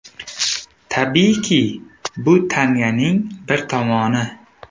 Tabiiyki, bu tanganing bir tomoni.